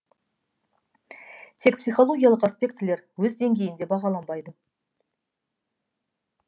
тек психологиялық аспектілер өз деңгейінде бағаланбайды